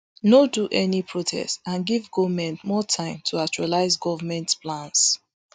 no do any protest and give goment more time to actualise government plans